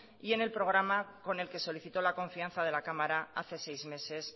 y en el programa con el que solicitó la confianza de la cámara hace seis meses